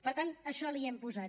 per tant això l’hi hem posat